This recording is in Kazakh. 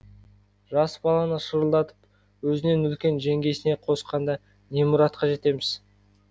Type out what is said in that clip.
жас баланы шырылдатып өзінен үлкен жеңгесіне қосқанда не мұратқа жетеміз